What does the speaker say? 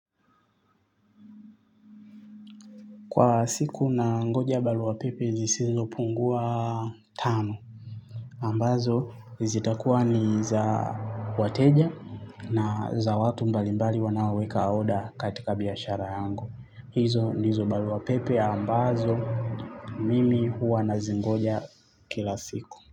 Kwa siku nangoja baruapepe zisizo pungua tano. Ambazo zitakuwa ni za wateja na za watu mbalimbali wanaoweka order katika biashara yangu. Hizo ndizo baruapepe ambazo mimi huwa nazingoja kila siku.